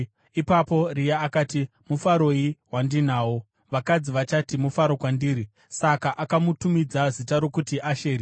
Ipapo Rea akati, “Mufaroi wandinawo! Vakadzi vachati mufaro kwandiri.” Saka akamutumidza zita rokuti Asheri.